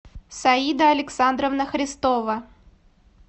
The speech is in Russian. саида александровна христова